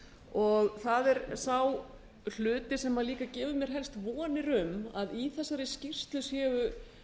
og það er sá hluti sem líka gefur mér helst vonir um að í þessari skýrslu séu